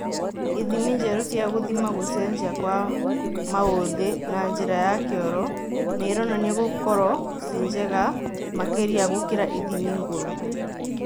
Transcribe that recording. Ithimi njerũ cia gũthima gũcenjia kwa maũthĩ na njĩra ya kĩoro nĩironania gũkorwo ci njega makĩria gũkĩra ithimi ngũrũ